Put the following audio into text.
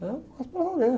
né? Faz para valer.